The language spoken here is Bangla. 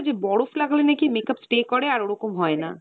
যে বরফ লাগালে নাকি makeup stay করে আর ওরকম হয় না।